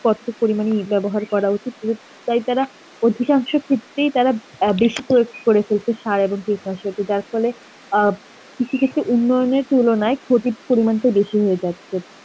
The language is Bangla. কতটুকু পরিমাণে ব্যবহার করা উচিত, পুরোটাই তারা অধিকাংশ ক্ষেত্রেই তারা আ বেশি কো~ করে ফেলছে সার আবার কীটনাশকের যার ফলে অ্যাঁ কৃষি ক্ষেত্রে উন্নয়নের তুলনায় ক্ষতির পরিমাণটা বেশি হয়ে যাচ্ছে.